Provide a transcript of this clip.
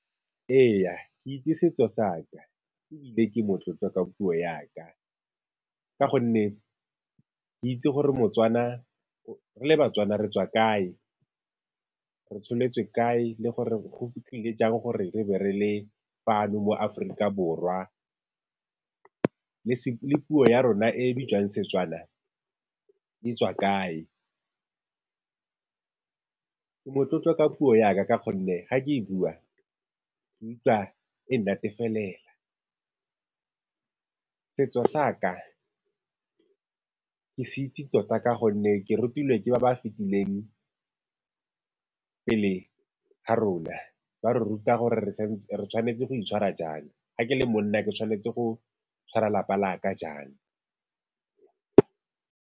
Ee, ke itse setso sa ka, ebile ke motlotlo ka puo ya ka, ka gonne ke itse gore moTswana, re le baTswana re tswa kae, re tsholetswe kae, le gore go tlile jang gore re be re le fano mo Aforika Borwa. Le puo ya rona e e bitswang Setswana di tswa kae. Ke motlotlo ka puo ya ka, ka gonne ga ke e bua, ke utlwa e nnatefelela. Setso sa ka, ke se itse tota ka gonne ke rutilwe ke ba ba fetileng pele ga rona, ba re ruta gore re tshwanetse go itshwara jang, ga ke le monna ke tshwanetse go tshwara lapa la ka jang.